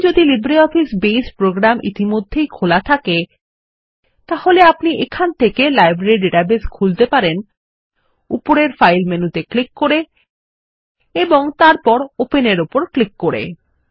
এখন যদি লিব্রিঅফিস বাসে প্রোগ্রাম ইতিমধ্যেই খোলা থাকে তাহলে আপনি এখান থেকে লাইব্রেরী ডাটাবেস খুলতে পারেন উপরের ফাইল মেনুতে ক্লিক করে তারপর ওপেন এর উপর ক্লিক করুন